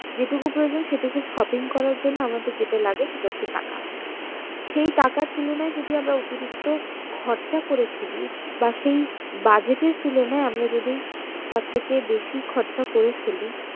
যে টুকু প্রয়োজন সেটুকু shopping করার জন্য আমাদের যেটা লাগে সেটা হচ্ছে টাকা সেই টাকার তুলনায় যদি আমরা অতিরিক্ত খরচ করে ফেলি বা সেই budget এর তুলনায় আমরা যদি তার থেকে বেশি খরচা করে ফেলি